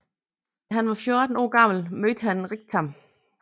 Da han var 14 år gammel mødte han Riktam